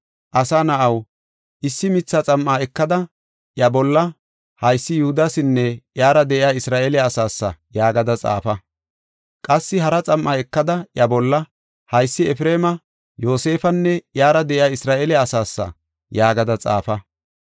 “Asa na7aw, issi mitha xam7a ekada, iya bolla, ‘Haysi Yihudasinne iyara de7iya Isra7eele asaasa’ yaagada xaafa. Qassi hara xam7a ekada, iya bolla, ‘Haysi Efreema; Yoosefanne iyara de7iya Isra7eele asaasa’ yaagada xaafa.